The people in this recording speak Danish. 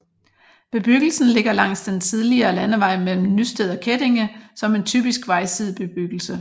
Bebyggelsen ligger langs den tidligere landevej mellem Nysted og Kettinge som en typisk vejsidebebyggelse